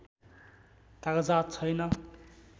कागजात छैन